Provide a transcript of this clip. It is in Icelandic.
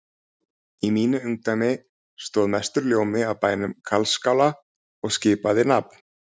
Í mínu ungdæmi stóð mestur ljómi af bænum Karlsskála og skipaði nafn